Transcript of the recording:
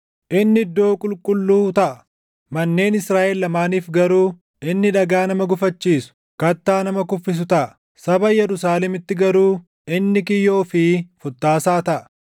Inni iddoo qulqulluu taʼa; manneen Israaʼel lamaaniif garuu inni dhagaa nama gufachiisu, kattaa nama kuffisu taʼa. Saba Yerusaalemitti garuu inni kiyyoo fi futtaasaa taʼa.